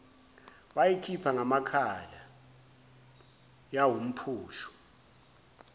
wayikhipha ngamakhala yawumphusho